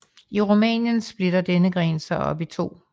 I Rumænien splitter denne gren sig op i to